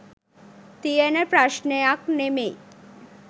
තියෙන ප්‍රශ්ණයක් නෙමෙයි.